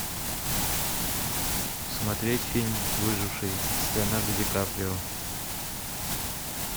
смотреть фильм выживший с леонардо ди каприо